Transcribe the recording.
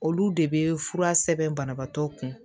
Olu de bɛ fura sɛbɛn banabaatɔ kun